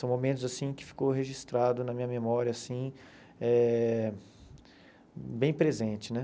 São momentos assim que ficou registrado na minha memória, assim, eh bem presente, né?